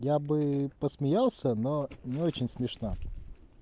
я бы посмеялся но не очень смешно